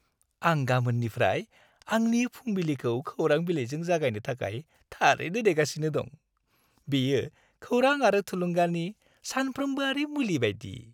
आं गामोननिफ्राय आंनि फुंबिलिखौ खौरां बिलाइजों जागायनो थाखाय थारैनो नेगासिनो दं। बेयो खौरां आरो थुलुंगानि सानफ्रोम्बोआरि मुलि बायदि।